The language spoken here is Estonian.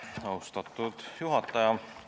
Austatud juhataja!